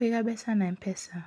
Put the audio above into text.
Kũiga mbeca na M-pesa: